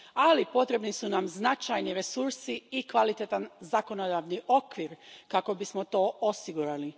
Ali, potrebni su nam značajni resursi i kvalitetan zakonodavni okvir kako bismo to osigurali.